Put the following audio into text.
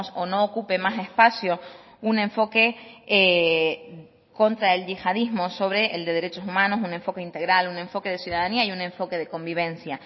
o no ocupe más espacio un enfoque contra el yihadismo sobre el de derechos humanos un enfoque integral un enfoque de ciudadanía y un enfoque de convivencia